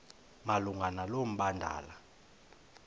malunga nalo mbandela